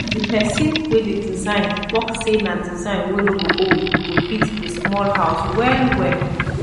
di pesin wey dey design tok sey na design wey nor go old go fit di smoll house wellwell